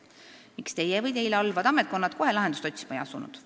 Miks Teie või Teile alluvad ametkonnad kohe lahendusi otsima ei asunud?